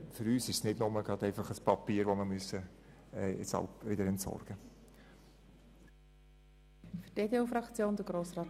Für uns handelt es sich nicht nur um Papier, welches wir wieder entsorgen müssen.